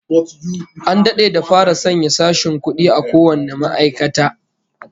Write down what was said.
An dade da fara sanya sashen kudi a kowane ma'aikata